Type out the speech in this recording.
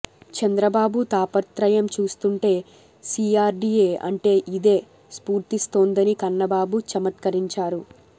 చంద్రబాబు తాపత్రయం చూస్తుంటే సీఆర్డీఏ అంటే ఇదే స్ఫురిస్తోందని కన్నబాబు చమత్కరించారు